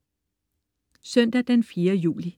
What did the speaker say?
Søndag den 4. juli